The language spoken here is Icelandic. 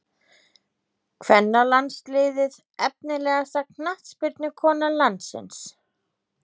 Kvennalandsliðið Efnilegasta knattspyrnukona landsins?